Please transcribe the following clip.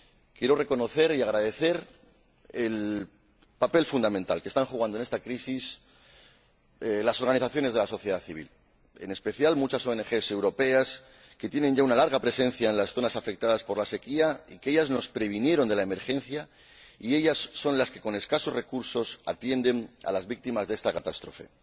Quiero reconocer y agradecer el papel fundamental que están jugando en esta crisis las organizaciones de la sociedad civil, en especial muchas ONG europeas que tienen ya una larga presencia en las zonas afectadas por la sequía, que nos previnieron de la emergencia y son las que, con escasos recursos, atienden a las víctimas de esta catástrofe.